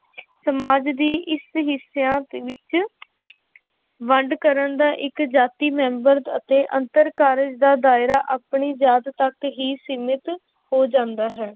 ਸਮਾਜ ਦੀ ਇਸ ਹਿੱਸਿਆਂ ਵਿੱਚ ਵੰਡ ਕਰਨ ਦਾ ਇੱਕ ਜਾਤੀ ਮੈਂਬਰ ਅਤੇ ਅੰਤਰ ਕਾਰਜ਼ ਦਾ ਦਾਇਰਾ ਆਪਣੀ ਜਾਤ ਤੱਕ ਹੀ ਸੀਮਿਤ ਹੋ ਜਾਂਦਾ ਹੈ।